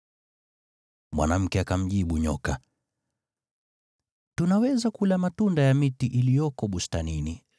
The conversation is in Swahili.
Mwanamke akamjibu nyoka, “Tunaweza kula matunda ya miti iliyoko bustanini,